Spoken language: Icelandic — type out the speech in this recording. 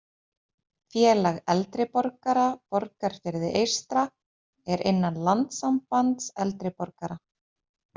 Félag eldri borgara Borgarfirði eystra er innan Landssambands eldri borgara